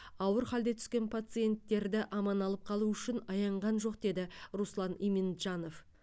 ауыр халде түскен пациенттерді аман алып қалу үшін аянған жоқ дейді руслан иминджанов